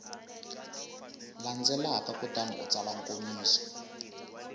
landzelaka kutani u tsala nkomiso